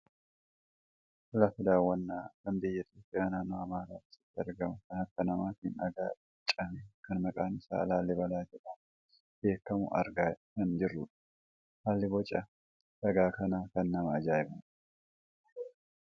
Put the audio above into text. lafa daawwannaa kan biyya Itoopiyaa naannoo amaaraa keessatti argamu kan harka namaatiin dhagaa irraa bocame kan maqaan isaa laallibalaa jedhamuun beekkamu argaa kan jirrudha. haalli boca dhagaa kanaa kan nama ajaa'ibudha.